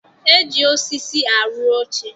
E ji osisi arụ oche